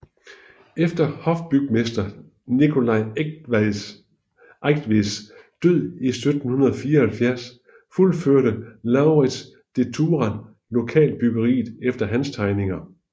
Efter hofbygmester Nicolai Eigtveds død i 1754 fuldførte Lauritz de Thurah loyalt byggeriet efter hans tegninger